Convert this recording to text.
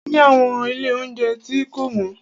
A ni àwọn ilé óunjẹ tí kò wọ́n.